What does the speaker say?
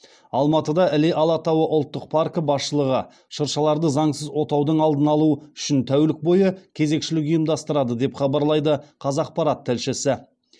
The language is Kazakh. алматыда іле алатауы ұлттық паркі басшылығы шыршаларды заңсыз отаудың алдын алу үшін тәулік бойы кезекшілік ұйымдастырады деп хабарлайды қазақпарат тілшісі